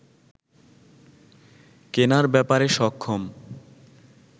কেনার ব্যাপারে সক্ষম